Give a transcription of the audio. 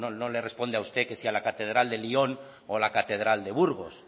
no le responde a usted que si a la catedral de lyon o a la catedral de burgos